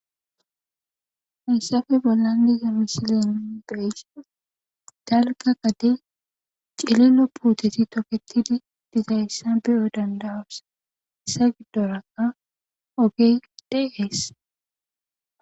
hissafe bollan digamisilen beysi dalga qade cililo puuteti toketidi dizayssa beyo dandawasa segdoraa oge deees